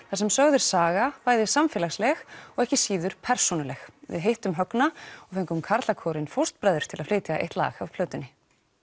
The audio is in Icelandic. þar sem sögð er saga bæði samfélagsleg og ekki síður persónuleg við hittum Högna og fengum karlakórinn fóstbræður til að flytja eitt lag af plötunni